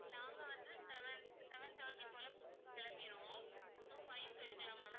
நாங்க வந்து seven seven thirty போல கிளம்பிருவோம் so five க்கு எடுக்கலாமா ma'am